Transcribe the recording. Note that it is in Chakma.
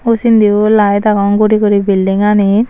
u sindiyo layet agon guri guri bildinganit .